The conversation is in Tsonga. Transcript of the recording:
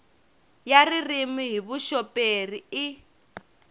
ya ririmi hi vuxoperi i